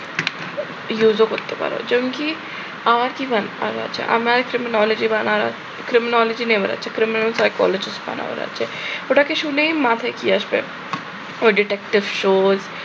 use ও করতে পারো। যেমন কি আমার কি আমার ওটাকে শুনেই মাথায় কি আসবে? ওই detective shows